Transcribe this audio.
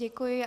Děkuji.